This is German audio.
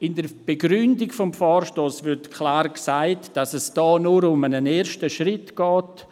In der Begründung des Vorstosses wird klar gesagt, dass es hier nur um einen ersten Schritt geht.